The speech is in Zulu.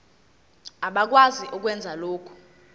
abakwazi ukwenza lokhu